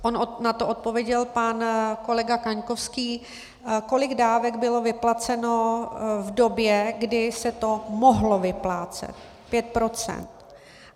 On na to odpověděl pan kolega Kaňkovský, kolik dávek bylo vyplaceno v době, kdy se to mohlo vyplácet.